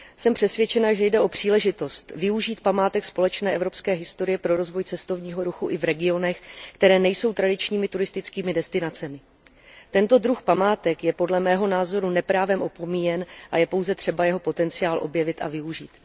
Jsem přesvědčena, že jde o příležitost využít památek společné evropské historie pro rozvoj cestovního ruchu i v regionech, které nejsou tradičními turistickými destinacemi. Tento druh památek je podle mého názoru neprávem opomíjen a je pouze třeba jeho potenciál objevit a využít.